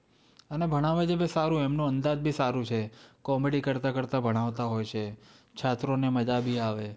અને ભણાવે છે ભી સારું, એમનો અંદાજ ભી સારું છે. Comedy કરતાં કરતાં ભણાવતા હોય છે, છાત્રોને મજા ભી આવે.